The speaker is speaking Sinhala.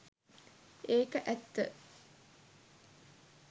ඒක ඇත්ත